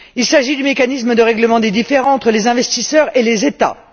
Il s'agit du mécanisme de règlement des différends entre les investisseurs et les États.